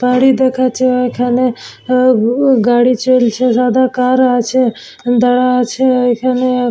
তারি দেখাচ্ছে ওইখানে অ উ গাড়ি চলছে সাদা কার আছে দা আছে ওইখানে ।